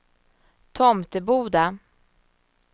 Tomteboda